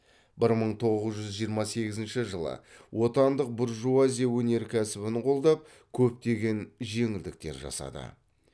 бір мың тоғыз жүз жиырма сегізінші жылы отандық буржуазия өнеркәсібін қолдап көптеген жеңілдіктер жасады